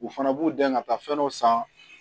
U fana b'u dɛn ka taa fɛn dɔ san